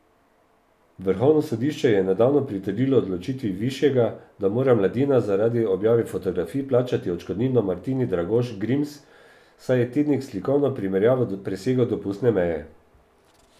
Vrhovno sodišče je nedavno pritrdilo odločitvi višjega, da mora Mladina zaradi objave fotografij plačati odškodnino Martini Dragoš Grims, saj je tednik s slikovno primerjavo presegel dopustne meje.